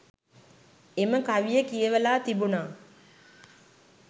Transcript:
එම කවිය කියවලා තිබුණා